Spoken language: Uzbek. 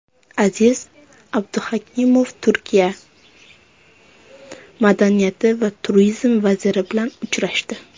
Aziz Abduhakimov Turkiya madaniyat va turizm vaziri bilan uchrashdi.